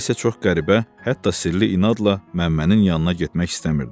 Nəyisə çox qəribə, hətta sirli inadla Məmmənin yanına getmək istəmirdi.